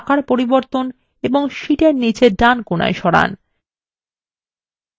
chartএর আকার পরিবর্তন এবং শীটএর নীচে ডান কোণায় সরান